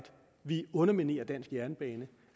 vi underminerer dansk jernbane